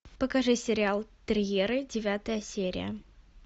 покажи сериал терьеры девятая серия